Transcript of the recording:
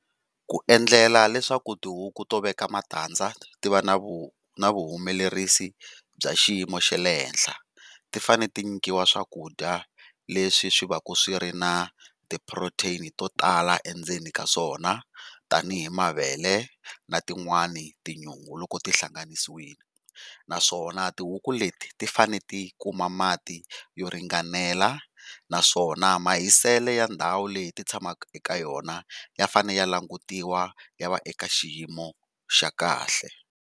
Ku endlela leswaku tihuku to veka matandza ti va na vu na vu humelerisi bya xiyimo xa le henhla, ti fanele ti nyikiwa swakudya leswi swi via ku swi ri na protein to tala endzeni ka swona tanihi mavele na tin'wani tinyungu loko ti hlanganisiwile. Naswona tihuku leti ti fanele ti kuma mati yo ringanela naswona mahiselo ya ndhawu leyi ti tshamaka eka yona ya fanele ya langutiwa ya va eka xiyimo xa kahle.